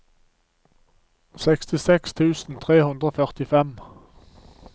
sekstiseks tusen tre hundre og førtifem